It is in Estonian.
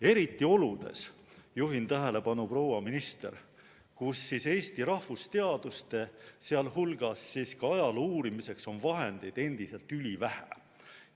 Eriti oludes, juhin tähelepanu, proua minister, kus Eesti rahvusteaduste, sh ajaloo uurimiseks on vahendeid endiselt ülivähe.